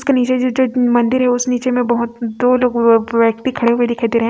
उसके नीचे जो जो मंदिर है उस नीचे में दो लोगों अ व्यक्ति खड़े हुए दिखाई दे रहे है।